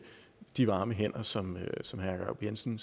de varme hænder som som herre jacob jensen